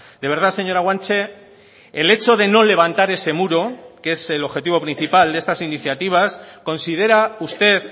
de verdad señora guanche el hecho de no levantar ese muro que es el objetivo principal de estas iniciativas considera usted